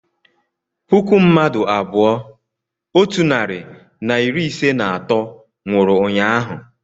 puku mmadụ abụọ otu narị na iri ise na atọ nwụrụ ụnyaahụ